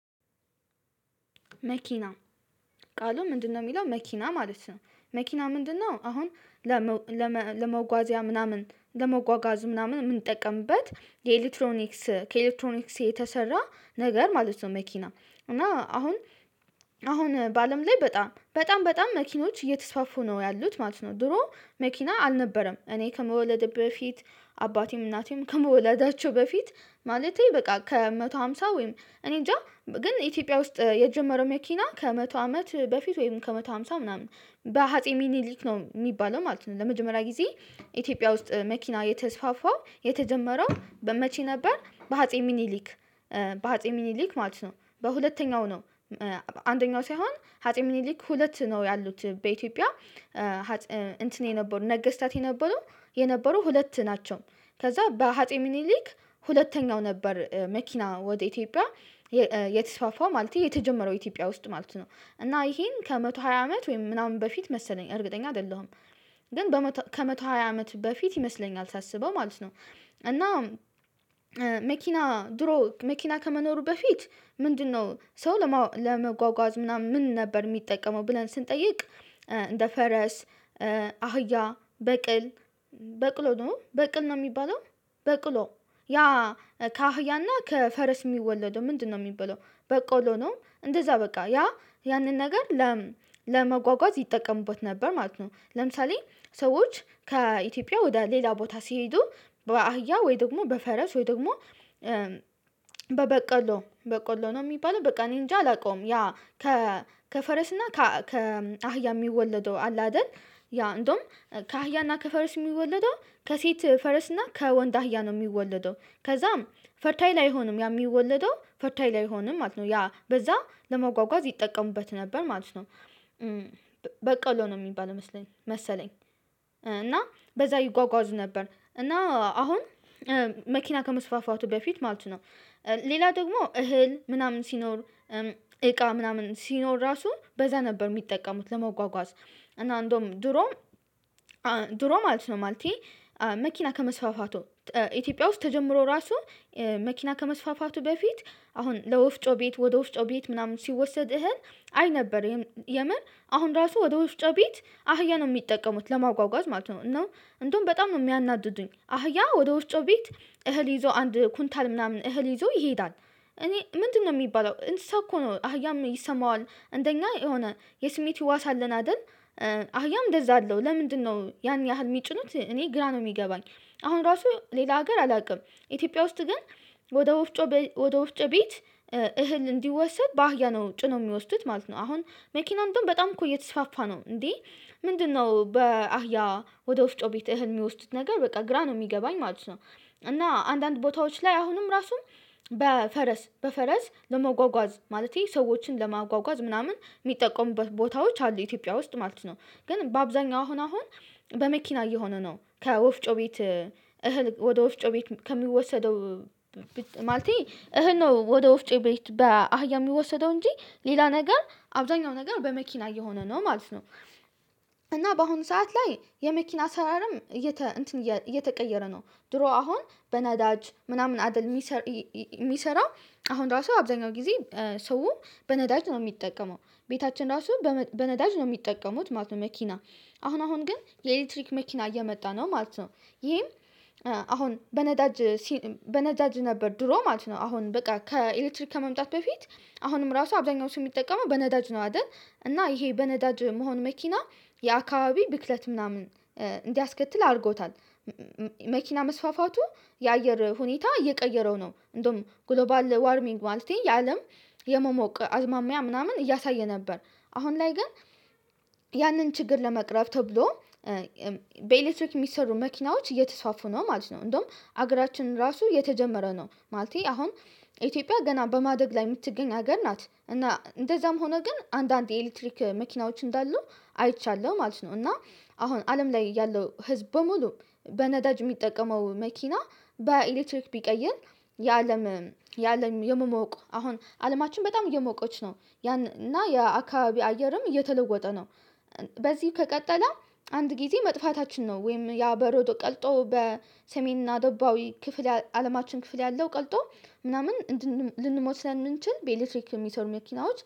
መኪና ቃሉ ምንድነው? የሚለው መኪና ማለት ነው። መኪና ምንድነው? አሁን ለመጓዛ ምናምን ለመጓጓዙ ምናምን የምንጠቀምበት የኤሌክትሮኒክስ ከኤሌክትሮኒክስ የተሰራ ነገር ማለት ነው። መኪና እና አሁን አሁን በአለም ላይ በጣም በጣም በጣም መኪኖች እየተስፋፉ ነው ያሉት ማለት ነው። ድሮ መኪና አልነበረም እኔ ከመወለዴ በፊት አባቴም እናቴም ከመወላዳቸው በፊት ማለቴ በቃ ከመቶ ሃምሳ ወይም እኔንጃ ግን ኢትዮጵያ ውስጥ የጀመረው መኪና ከመቶ አመት በፊት ወይም ከመቶ ሃምሳ ምናምን በአጼ ሚኒሊክ ነው የሚባለው ማለት ነው። ለመጀመሪያ ጊዜ ኢትዮጵያ ውስጥ መኪና የተስፋፋው የተጀመረው በመቼ ነበር? በአጼ ሚኒሊክ። በአጼ ሚኒሊክ ማለት ነው። በሁለተኛው ነው። አንደኛው ሳይሆን አጼ ሚኒሊክ ሁለት ነው ያሉት በኢትዮጵያ። እንትን የነበሩ ነገስታት የነበሩ የነበሩ ሁለት ናቸው። ከዛ በአፄ ሚኒሊክ ሁለተኛው ነበር መኪና ወደ ኢትዮጵያ የተስፋፋው ማለት የተጀመረው ኢትዮጵያ ውስጥ ማለት ነው። እና ይሄን ከመቶ ሃያ አመት ወይም ምናምን በፊት መሰለኝ እርግጠኛ አይደለሁም። ግን ከመቶ ሃያ አመት በፊት ይመስለኛል ሳስበው ማለት ነው። እና መኪና ድሮ መኪና ከመኖሩ በፊት ምንድነው ሰው ለመጓጓዝ ምናምን ምን ነበር የሚጠቀመው ብለን ስንጠይቅ። እንደ ፈረስ። አህያ በቅል በቅሎ ነው በቅል ነው የሚባለው። በቅሎ ያ ከአህያና ከፈረስ የሚወለደው ምንድነው የሚባለው? በቅሎ ነው። እንደዛ በቃ ያ ያንን ነገር ለመጓጓዝ ይጠቀሙበት ነበር ማለት ነው። ለምሳሌ ሰዎች ከኢትዮጵያ ወደ ሌላ ቦታ ሲሄዱ በአህያ ወይ ደግሞ በፈረስ ወይ ደግሞ በበቀሎ በቀሎ ነው የሚባለው በቃ እኔ እንጃ አላውቀውም። ያ ከ ከፈረስና ከ አህያ የሚወለደው አለ አይደል? ያ እንደውም ከአህያና ከፈረስ የሚወለደው ከሴት ፈረስና ከወንድ አህያ ነው የሚወለደው። ከዛም ፈርታይል አይሆንም ያ የሚወለደው ፈርታይል አይሆንም ማለት ነው። ያ በዛ ለመጓጓዝ ይጠቀሙበት ነበር ማለት ነው። በቀሎ ነው የሚባል መሰለኝ መሰለኝ እና በዛ ይጓጓዙ ነበር እና አሁን መኪና ከመስፋፋቱ በፊት ማለት ነው። ሌላ ደግሞ እህል ምናምን ሲኖር እቃ ምናምን ሲኖር ራሱ በዛ ነበር የሚጠቀሙት ለመጓጓዝ። እና እንደውም ድሮ ድሮ ማለት ነው ማለቴ መኪና ከመስፋፋቱ ኢትዮጵያ ውስጥ ተጀምሮ ራሱ መኪና ከመስፋፋቱ በፊት አሁን ለወፍጮ ቤት ወደ ወፍጮ ቤት ምናምን ሲወሰድ እህል አይ ነበር። የምር አሁን ራሱ ወደ ወፍጮ ቤት አህያ ነው የሚጠቀሙት ለማጓጓዝ ማለት ነው። እንደውም በጣም ነው የሚያናድዱኝ አህያ ወደ ወፍጮ ቤት እህል ይዞ አንድ ኩንታል ምናምን እህል ይዞ ይሄዳል። እኔ ምንድነው የሚባለው እንትን እኮ ነው አህያም ይሰማዋል እንደኛ የሆነ የስሜት ህዋስ አለን አይደል? አህያም እንደዛ አለው ለምንድነው ያን ያህል የሚጭኑት እኔ ግራ ነው የሚገባኝ። አሁን ራሱ ሌላ ሀገር አላውቅም። ኢትዮጵያ ውስጥ ግን ወደ ወፍጮ ወደ ወፍጮ ቤት እህል እንዲወሰድ ባህያ ነው ጭኖ የሚወስዱት ማለት ነው። አሁን መኪና እንደውም በጣም እኮ እየተስፋፋ ነው እንዴ? ምንድነው በአህያ ወደ ወፍጮ ቤት እህል የሚወስዱት ነገር በቃ ግራ ነው የሚገባኝ ማለት ነው። እና አንዳንድ ቦታዎች ላይ አሁንም ራሱ በፈረስ ለመጓጓዝ ማለቴ ሰዎችን ለማጓጓዝ ምናምን የሚጠቀሙበት ቦታዎች አሉ ኢትዮጵያ ውስጥ ማለት ነው። ግን በአብዛኛው አሁን አሁን በመኪና እየሆነ ነው። ከወፍጮ ቤት እህል ወደ ወፍጮ ወፍጮ ቤት ከሚወሰደው ማለቴ እህል ነው ወደ ወፍጮ ቤት በአህያ የሚወሰደው እንጂ ሌላ ነገር አብዛኛው ነገር በመኪና እየሆነ ነው ማለት ነው። እና በአሁኑ ሰዓት ላይ የመኪና አሰራርም እየተ እንትን እየተቀየረ ነው ድሮ አሁን በነዳጅ ምናምን አደል? የሚሰራው። አሁን ራሱ አብዛኛው ጊዜ ሰው በነዳጅ ነው የሚጠቀመው። ቤታችን ራሱን በነዳጅ ነው የሚጠቀሙት ማለት ነው። መኪና አሁን አሁን ግን የኤሌክትሪክ መኪና እየመጣ ነው ማለት ነው። ይሄም አሁን በነዳጅ ነበር ድሮ ማለት ነው አሁን በቃ ከኤሌክትሪክ ከመምጣቱ በፊት አሁንም ራሱ አብዛኛው ሰው የሚጠቀመው በነዳጅ ነው አይደል? እና ይሄ በነዳጅ መሆን መኪና የአካባቢ ብክለት ምናምን እንዲያስከትል አድርጎታል። መኪና መስፋፋቱ የአየር ሁኔታ እየቀየረው ነው። እንደውም ግሎባል ዋርሚንግ ማለቴ የአለም የመሞቅ አዝማሚያ ምናምን እያሳየ ነበር። አሁን ላይ ግን ያንን ችግር ለመቅረፍ ተብሎ በኤሌክትሪክ የሚሰሩ መኪናዎች እየተስፋፉ ነው ማለት ነው። እንደውም ሀገራችንን ራሱ የተጀመረ ነው። ማለቴ አሁን ኢትዮጵያ ገና በማደግ ላይ የምትገኝ ሀገር ናት እና እንደዛም ሆኖ ግን አንዳንድ የኤሌክትሪክ መኪናዎች እንዳሉ አይቻለሁ ማለት ነው። እና አሁን አለም ላይ ያለው ህዝብ በሙሉ በነዳጅ የሚጠቀመው መኪና በኤሌክትሪክ ቢቀይር የአለም የአለም የመሞቅ አሁን አለማችን በጣም እየሞቀች ነው። ያን እና የአካባቢ አየርም እየተለወጠ ነው። በዚህ ከቀጠለ አንድ ጊዜ መጥፋታችን ነው። ወይም ያ በረዶ ቀልጦ በሰሜንና ደቡባዊ ክፍል አለማችን ክፍል ያለው ቀልጦ ምናምን ልንሞት ስለምንችል በኤሌክትሪክ የሚሰሩ መኪናዎች